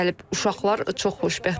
Uşaqlar çox xoşbəxtdirlər.